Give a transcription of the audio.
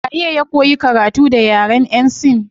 Waye ya koyi karatu da yaren yan sin